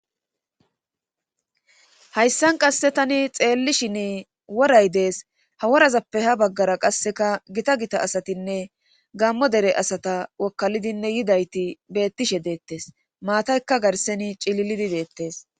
Hayssan qasse tani xeellishini woray dees ha worazappe ha baggara qasseka gita gita asatinne gammo dere asata wokkalidinne yidayti beettishe deettes maataykka garseni cililidi deettes.